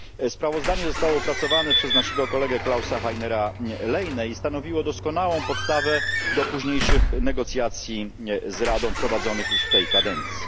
Sprawozdanie zostało opracowane przez naszego kolegę Klausa Heinera Lehnego i stanowiło doskonałą podstawę do późniejszych negocjacji z Radą prowadzonych już w tej kadencji.